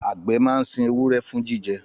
Àgbẹ̀ máa ń sin ewúrẹ́ fún jíjẹ